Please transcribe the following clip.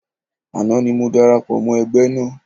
Àná ni mo darapọ̀ mọ́ ẹgbẹ́ náà